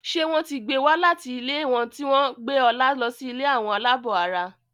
ṣe wón tí gbé wá láti ilé wón tí gbé Ola ló sì ilé Àwọn alabó àrà.